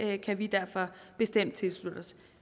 det kan vi derfor bestemt tilslutte os